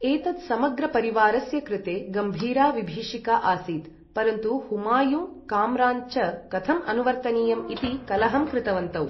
एतत् समग्रपरिवारस्य कृते गम्भीरा विभीषिका आसीत्, परन्तु हुमायून्, काम्रान् च कथम् अनुवर्तनीयम् इति कलहं कृतवन्तौ।